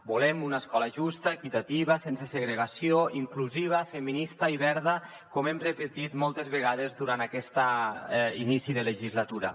volem una escola justa equitativa sense segregació inclusiva feminista i verda com hem repetit moltes vegades durant aquest inici de legislatura